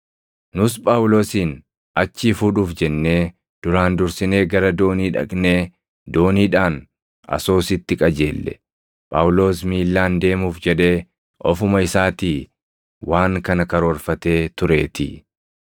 Nus Phaawulosin achii fuudhuuf jennee duraan dursinee gara doonii dhaqnee dooniidhaan Asoositti qajeelle; Phaawulos miillaan deemuuf jedhee ofuma isaatii waan kana karoorfatee tureetii.